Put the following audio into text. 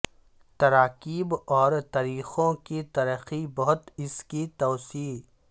تراکیب اور طریقوں کی ترقی بہت اس کی توسیع